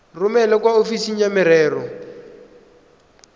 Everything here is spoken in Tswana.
romele kwa ofising ya merero